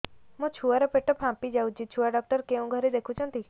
ମୋ ଛୁଆ ର ପେଟ ଫାମ୍ପି ଯାଉଛି ଛୁଆ ଡକ୍ଟର କେଉଁ ଘରେ ଦେଖୁ ଛନ୍ତି